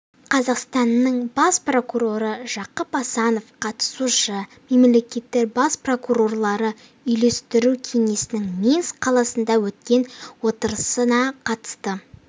қазақстанның бас прокуроры жақып асанов қатысушы мемлекеттер бас прокурорлары үйлестіру кеңесінің минск қаласында өткен отырысына қатысты